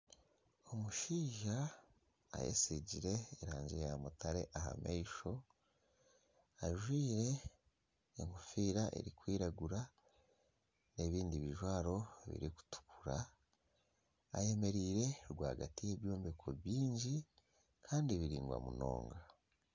Omushaija ayetsigire erangi ya mutare aha maisho ajwire enkofiira erikwiragura n'ebindi bijwaro birikutukura ayemereire rwagati y'ebyombeko byingi Kandi biringwa munonga.